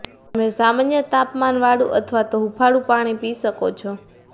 તમે સામાન્ય તાપમાનવાળુ અથવા તો હુંફાળુ પાણી પી શકો છો